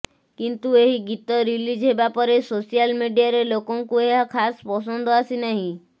କିନ୍ତୁ ଏହି ଗୀତ ରିଲିଜ୍ ହେବା ପରେ ସୋଶାଲ୍ ମିଡିଆରେ ଲୋକଙ୍କୁ ଏହା ଖାସ୍ ପସନ୍ଦ ଆସିନାହିଁ